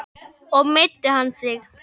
Og meiddi hann sig mikið?